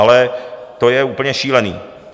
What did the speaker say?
Ale to je úplně šílené.